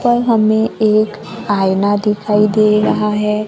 पर हमें एक आईना दिखाई दे रहा है।